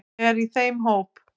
Ég er í þeim hóp.